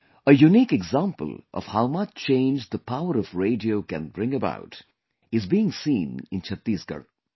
A unique example of how much change the power of radio can bring about is being seen in Chhattisgarh